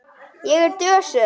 Ég er dösuð.